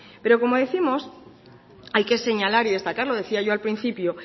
pero como décimos hay que señalar y destacar lo decía yo al principio